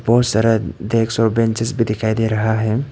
बहुत सारा डेस्क और बेंचेज भी दिखाई दे रहा है।